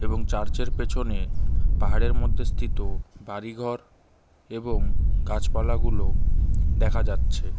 এবং চার্চ -এর পেছনে পাহাড়ের মধ্যে স্থিত বাড়ি ঘর এবং গাছপালাগুলো দেখা যাচ্ছে।